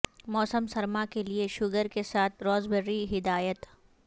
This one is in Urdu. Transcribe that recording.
موسم سرما کے لئے شوگر کے ساتھ راسبرییری ہدایت